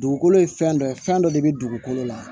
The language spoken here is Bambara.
Dugukolo ye fɛn dɔ ye fɛn dɔ de bɛ dugukolo la